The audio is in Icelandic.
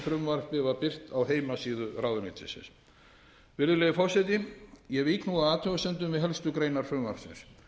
frumvarpið var birt á heimasíðu ráðuneytisins virðulegi forseti ég vík nú að athugasemdum við helstu greinar frumvarpsins